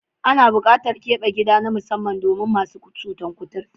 Ana buƙatar keɓe gida na musamman domin masu cutar kuturta.